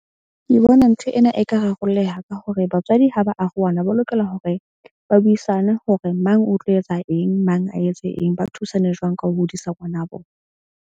Ke bona ntho ena e ka rarolleha ka hore batswadi ha ba arohana, ba lokela hore ba buisane hore mang o tlo etsa eng, mang a etse eng. Ba thusane jwang ka ho hodisa ngwana bo.